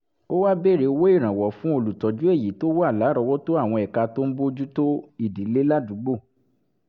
ó wá bèèrè owó ìrànwọ́ fún olùtọ́jú èyí tó wà lárọ̀ọ́wọ́tó àwọn ẹ̀ka tó ń bójú tó ìdílé ládùúgbò